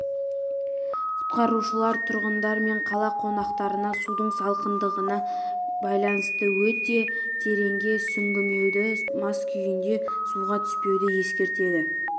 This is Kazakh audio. құтқарушылар тұрғындар мен қала қонақтарына судың салқындығына байланысты өте тереңге сүңгімеуді мас күйінде суға түспеуді ескертеді